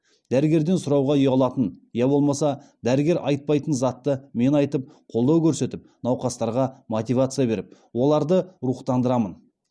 дәрігерден сұрауға ұялатын я болмаса дәрігер айтпайтын затты мен айтып қолдау көрсетіп науқастарға мотивация беріп оларды рухтандырамын